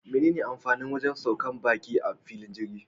Mene amfanin wajan saukar baki a filin jirgi?